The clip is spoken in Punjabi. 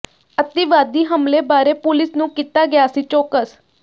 ਅਤਿਵਾਦੀ ਹਮਲੇ ਬਾਰੇ ਪੁਲੀਸ ਨੂੰ ਕੀਤਾ ਗਿਆ ਸੀ ਚੌਕਸ